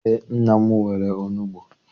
Eé, nna m nwere onugbu